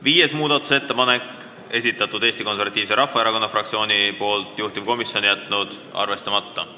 Viienda muudatusettepaneku on esitanud Eesti Konservatiivse Rahvaerakonna fraktsioon, juhtivkomisjon on jätnud arvestamata.